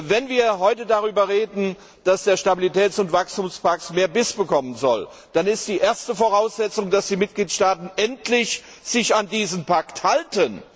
Wenn wir heute darüber reden, dass der Stabilitäts und Wachstumspakt mehr Biss bekommen soll, dann ist die erste Voraussetzung, dass die Mitgliedstaaten sich endlich an diesen Pakt halten.